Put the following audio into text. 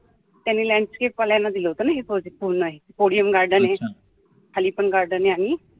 त्यांनी landscape वाल्याना दिलं होतं ना odium garden खाली पण garden आहे आणि